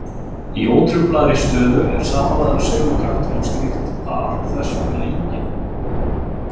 Í ótruflaðri stöðu er samanlagður segulkraftur á slíkt par þess vegna enginn.